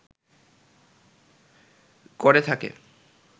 করে থাকে